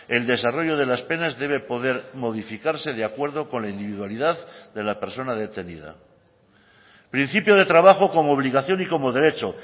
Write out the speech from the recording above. el desarrollo de las penas debe poder modificarse de acuerdo con la individualidad de la persona detenida principio de trabajo como obligación y como derecho